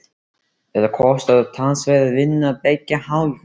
Þetta kostar talsverða vinnu af beggja hálfu.